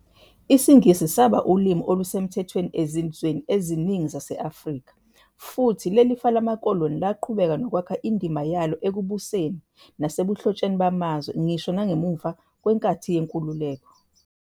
IsiNgisi saba ulimi olusemthethweni ezizweni eziningi zase-Afrika, futhi leli fa lamakoloni laqhubeka nokwakha indima yalo ekubuseni nasebuhlotsheni bamazwe ngisho nangemva kwenkathi yenkululeko.